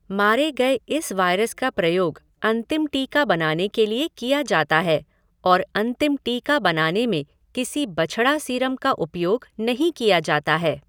मारे गए इस वायरस का प्रयोग अंतिम टीका बनाने के लिए किया जाता है और अंतिम टीका बनाने में किसी बछड़ा सीरम का उपयोग नहीं किया जाता है।